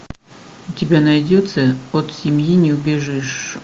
у тебя найдется от семьи не убежишь